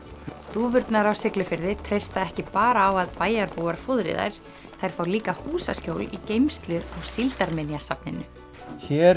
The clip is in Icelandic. dúfurnar á Siglufirði treysta ekki bara á að bæjarbúar fóðri þær þær fá líka húsaskjól í geymslu á Síldarminjasafninu hér